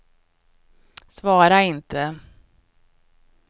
svara inte